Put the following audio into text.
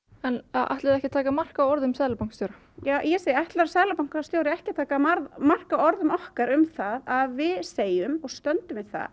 en ætlið þið ekki að taka mark á orðum seðlabankastjóra ég segi ætlar seðlabankastjóri ekki að taka mark á orðum okkar um að við segjum og stöndum við það